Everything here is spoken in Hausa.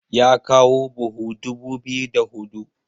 ya kawo buhu dubu biyu da hudu